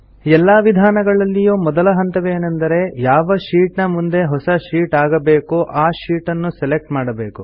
ಎಲ್ಲಾ ವಿಧಾನಗಳಲ್ಲಿಯೂ ಮೊದಲ ಹಂತವೇನೆಂದರೆ ಯಾವ ಶೀಟ್ ನ ಮುಂದೆ ಹೊಸ ಶೀಟ್ ಆಗಬೇಕೋ ಆ ಶೀಟ್ ಅನ್ನು ಸೆಲೆಕ್ಟ್ ಮಾಡಬೇಕು